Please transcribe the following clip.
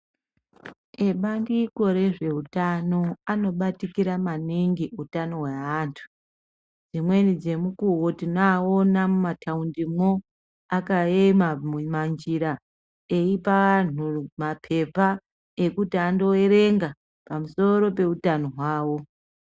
Ebandiko rezveutano anobatikira maningi utano hweantu dzimweni dzemukuwo tinoawona mumathaundi mwo akaema mumanjira eipa anhu mapepa ekuti andoerenga pamusoro peutano hwawo.